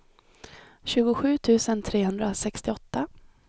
tjugosju tusen trehundrasextioåtta